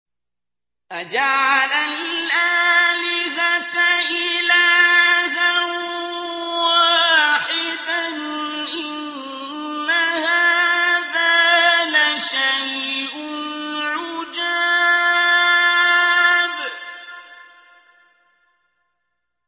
أَجَعَلَ الْآلِهَةَ إِلَٰهًا وَاحِدًا ۖ إِنَّ هَٰذَا لَشَيْءٌ عُجَابٌ